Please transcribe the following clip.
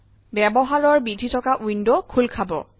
ব্যৱহাৰৰ বিধি থকা ৱিণ্ডৱ খোল খাব